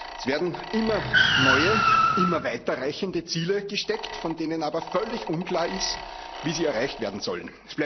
Es werden immer neue, immer weiter reichende Ziele gesteckt, von denen aber völlig unklar ist, wie sie erreicht werden sollen.